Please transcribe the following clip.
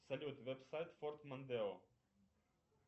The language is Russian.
салют веб сайт форд мондео